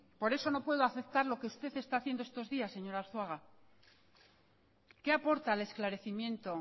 por eso no puedo aceptar lo que usted está haciendo estos días señor arzuaga qué aporta al esclarecimiento